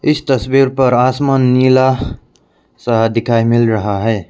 इस तस्वीर पर आसमान नीला सा दिखाई मिल रहा है।